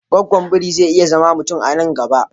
Gwaggwan biri zai iya zama mutum a nan gaba